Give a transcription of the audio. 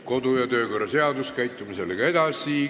Kodu- ja töökorra seaduse alusel toimetame sellega edasi.